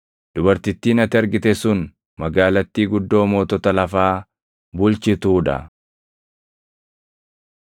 Dubartittiin ati argite sun magaalattii guddoo mootota lafaa bulchituu dha.”